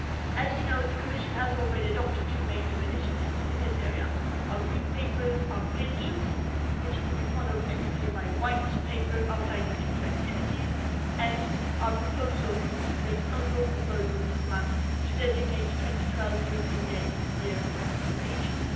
As you know, the Commission has already adopted two major initiatives in this area our Green Paper on pensions, which will be followed next year by a White Paper outlining future activities, and our proposal based on your proposal, Mr Mann to designate 2012 as the European Year for Active Ageing.